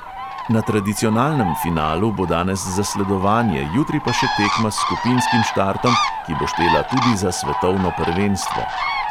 Na tradicionalnem finalu bo danes zasledovanje, jutri pa še tekma s skupinskim štartom, ki bo štela tudi za svetovno prvenstvo.